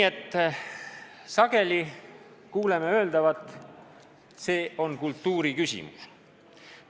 Sageli kuuleme öeldavat: see on kultuuri küsimus.